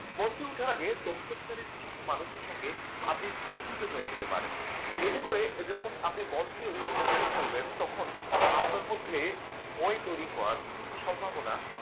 মঞ্চ ওঠার আগে দর্শক ছেড়ে কিছু মানুষের সঙ্গে আপনি পরিচিত হয়ে নিতে পারেন এতে করে যখন আপনি মঞ্চে উঠে কথা বলবেন তখন আপনার মধ্যে ভয় তৈরি হওয়ার সম্ভাবনা